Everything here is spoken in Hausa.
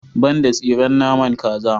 Ban da tsiren naman kaza.